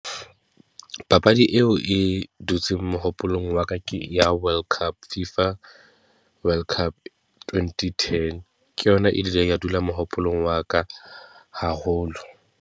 Papadi eo e dutseng mohopolong wa ka ke ya world cup Fifa, world cup twenty ten. Ke yona e ileng ke dula mohopolong wa ka haholo.